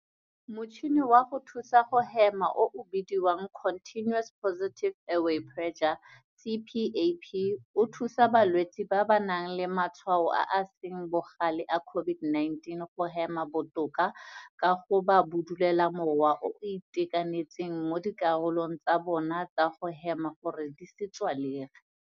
Motšhini wa go thusa go hema o o bidiwang Continuous Positive Airway Pressure, CPAP, o thusa balwetse ba ba nang le matshwao a a seng bogale a COVID-19 go hema botoka ka go ba bodulolela mowa o o itekanetseng mo dikarolong tsa bona tsa go hema gore di se tswalege.